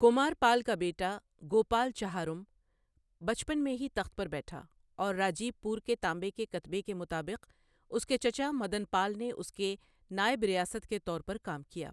کمارپال کا بیٹا، گوپال چہارم بچپن میں ہی تخت پر بیٹھا، اور راجیب پور کے تانبے کے کتبے کے مطابق، اس کے چچا مدن پال نے اس کے نائب ریاست کے طور پر کام کیا۔